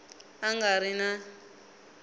a nga ri na n